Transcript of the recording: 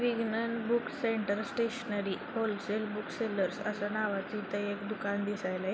विगणन book centre stationery wholesale book sellers असं नावाचं इथे एक दुकान दिसायलय.